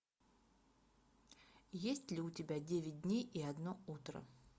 есть ли у тебя девять дней и одно утро